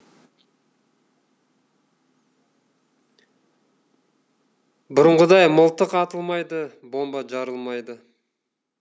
бұрынғыдай мылтық атылмайды бомба жарылмайды